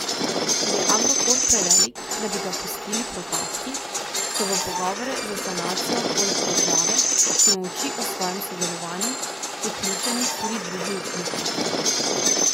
Ker je Agrokor prevelik, da bi ga pustili propasti, so v pogovore za sanacijo poleg države, ki molči o svojem sodelovanju, vključeni tudi drugi upniki.